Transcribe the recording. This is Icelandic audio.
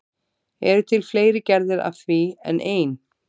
Eru til fleiri gerðir af því en ein?